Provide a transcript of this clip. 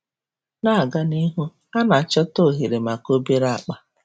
Na-aga n'ihu, a na-achọta oghere maka obere akpa.